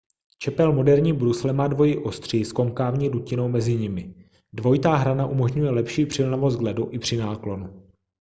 čepel moderní brusle má dvojí ostří s konkávní dutinou mezi nimi dvojitá hrana umožňuje lepší přilnavost k ledu i při náklonu